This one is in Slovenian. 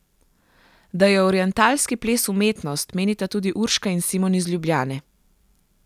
Da je orientalski ples umetnost, menita tudi Urška in Simon iz Ljubljane.